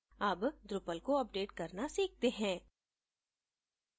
अब drupal को update करना सीखते हैं